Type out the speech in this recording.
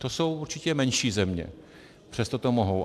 To jsou určitě menší země, přesto to mohou.